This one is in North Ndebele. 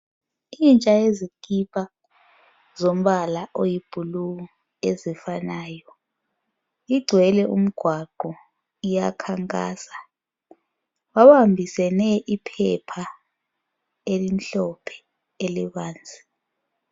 intsha yezikipa zilombala oyi blue ofanayo igcwele umgwaqo iyakhankasa babambisene iphepha elimhlophe elibanzi